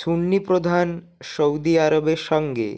সুন্নিপ্রধান সউদি আরবের সঙ্গে